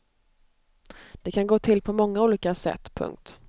Det kan gå till på många olika sätt. punkt